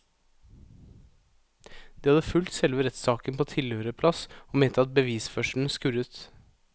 De hadde fulgt selve rettssaken på tilhørerplass og mente at bevisførselen skurret.